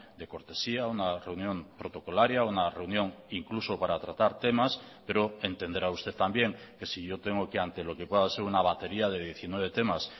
de cortesía una reunión protocolaria una reunión incluso para tratar temas pero entenderá usted también que si yo tengo que ante lo que pueda ser una batería de diecinueve temas